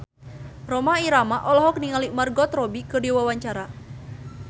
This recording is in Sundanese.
Rhoma Irama olohok ningali Margot Robbie keur diwawancara